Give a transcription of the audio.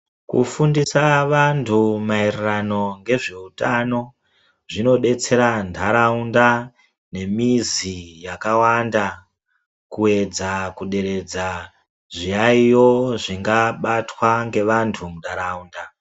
Kufundisa vantu mairirano ngezveutano zvinodetsera ntaraunda nemizi yakawanda kuedza kuderedza zviyayiyo zvingabatwa ngevantu muntaraunda.